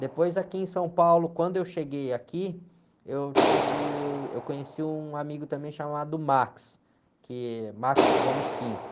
Depois aqui em São Paulo, quando eu cheguei aqui, eu tive o... Eu conheci um amigo também chamado, que é.